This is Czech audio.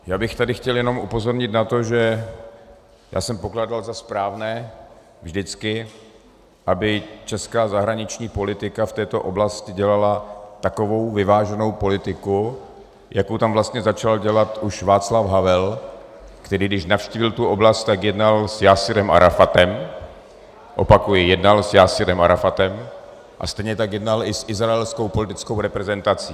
Já bych tady chtěl jenom upozornit na to, že já jsem pokládal za správné vždycky, aby česká zahraniční politika v této oblasti dělala takovou vyváženou politiku, jakou tam vlastně začal dělat už Václav Havel, který když navštívil tu oblast, tak jednal s Jásirem Arafatem, opakuji, jednal s Jásirem Arafatem, a stejně tak jednal i s izraelskou politickou reprezentací.